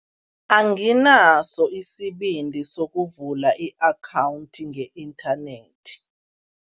Anginaso isibindi sokuvula i-akhawundi nge-inthanethi.